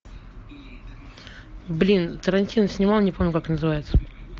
блин тарантино снимал не помню как называется